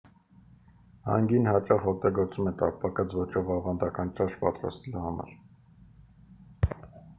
հանգին հաճախ օգտագործվում է տապակած ոճով ավանդական ճաշ պատրաստելու համար